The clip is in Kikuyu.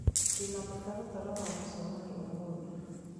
Ndĩ na mũtaratara wa mũcemanio ũmũthĩ